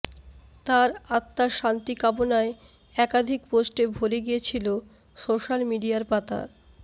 তার আত্মার শান্তি কামনায় একাধিক পোস্টে ভরে গিয়েছিল সোশ্যাল মিডিয়ার পাতা